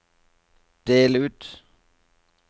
del ut